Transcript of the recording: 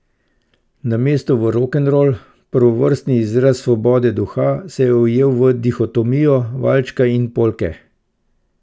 Namesto v rokenrol, prvovrstni izraz svobode duha, se je ujel v dihotomijo valčka in polke.